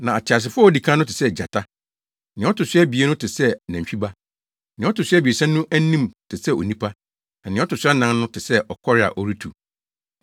Na ɔteasefo a odi kan no te sɛ gyata; nea ɔto so abien no te sɛ nantwi ba; nea ɔto so abiɛsa no anim te sɛ onipa; na nea ɔto so anan no te sɛ ɔkɔre a ɔretu.